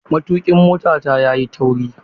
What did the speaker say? Matukin motata yayi tauri.